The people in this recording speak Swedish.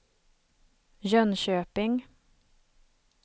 Jönköping